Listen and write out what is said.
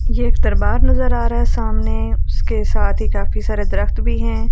ये एक तरबार नज़र आ रहा है सामने उसके साथ ही काफी सारे द्रव्त भी है ।